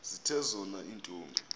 zithe zona iintombi